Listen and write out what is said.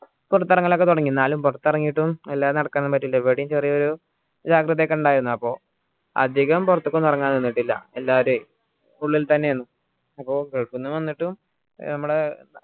പുറത്തിറങ്ങൽ ഒക്കെ തുടങ്ങി എന്നാലും പുറത്തിറങ്ങിയിട്ടും എല്ലാതും നടക്കാൻ ഒന്നും പറ്റിയില്ല എവിടെയും ചെറിയൊരു ജാഗ്രത ഒക്കെ ഇണ്ടായിരുന്നു അപ്പോ അധികം പുറത്ത്ക്ക് ഒന്ന് ഇറങ്ങാൻ നിന്നിക്കില്ല എല്ലാവരുയെ ഉള്ളിൽത്തന്നെ ആയിരന്നു അപ്പോ gulf ന്ന് വന്നിട്ടും നമ്മളെ